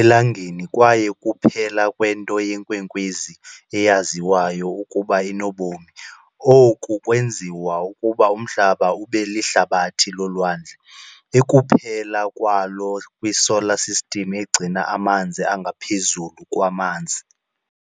eLangeni kwaye kuphela kwento yeenkwenkwezi eyaziwayo ukuba inobomi. Oku kwenziwa ukuba uMhlaba ube lihlabathi lolwandle, ekuphela kwalo kwiSolar System egcina amanzi angaphezulu kwamanzi.